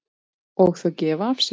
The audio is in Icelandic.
Og þau gefa af sér.